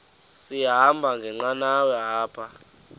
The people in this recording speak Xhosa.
sahamba ngenqanawa apha